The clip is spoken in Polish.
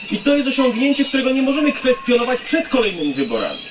Jest to osiągnięcie, którego nie możemy zakwestionować przed kolejnymi wyborami.